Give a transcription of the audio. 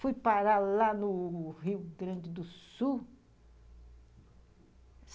Fui parar lá no Rio Grande do Sul.